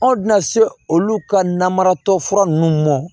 Anw tɛna se olu ka namaratɔ fura nunnu mɔ